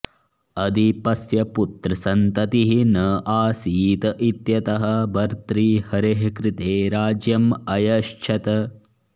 अधिपस्य पुत्रसन्ततिः न आसीत् इत्यतः भर्तृहरेः कृते राज्यम् अयच्छत्